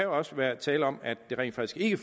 også være tale om at det rent faktisk ikke